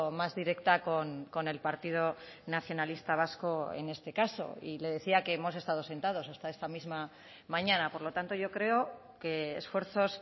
más directa con el partido nacionalista vasco en este caso y le decía que hemos estado sentados hasta esta misma mañana por lo tanto yo creo que esfuerzos